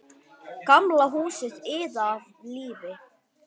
Gamla húsið iðaði af lífi.